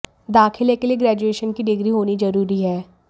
दाखिले के लिए ग्रेजुएशन की डिग्री होनी जरूरी है